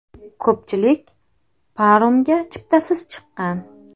Ko‘pchilik paromga chiptasiz chiqqan.